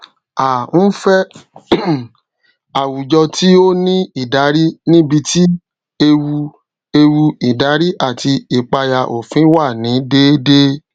a nfẹ um àwùjọ tí o ní ìdarí níbití ewu ewu ìdarí àti ipaya òfin wà ni dédé